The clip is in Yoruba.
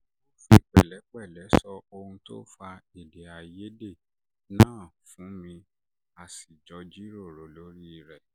ó fi pẹ̀lẹ́pẹ̀lẹ́ sọ ohun tó fa èdè àìyedè náà fún mi a sì jọ jíròrò lórí rẹ̀